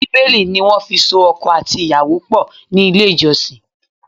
Bíbélì ni wọ́n fi so ọkọ àti ìyàwó pọ̀ ní ilé ìjọsìn.